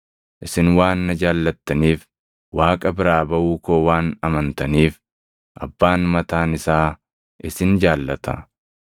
Isin waan na jaallattaniif, Waaqa biraa baʼuu koo waan amantaniif Abbaan mataan isaa isin jaallata.